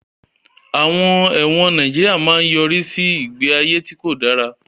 Àwọn ẹ̀wọ̀n Nàìjíríà máa ń yọrí sí ìgbé ayé tí kò dára